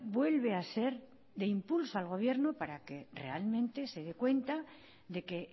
vuelve a ser de impulso al gobierno para que realmente se dé cuenta de que